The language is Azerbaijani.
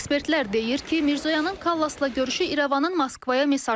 Ekspertlər deyir ki, Mirzoyanın Kallasla görüşü İrəvanın Moskvaya mesajıdır.